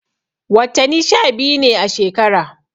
Wattani sha biyu ne a shekara.